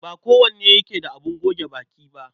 Ba kowane yake da abin goge baki ba.